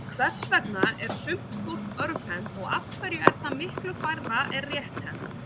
Hvers vegna er sumt fólk örvhent og af hverju er það miklu færra er rétthent?